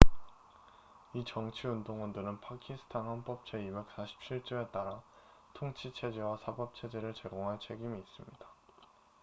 이 정치 운동원들은 파키스탄 헌법 제247조에 따라 통치 체제와 사법 체제를 제공할 책임이 있습니다